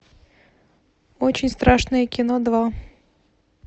очень страшное кино два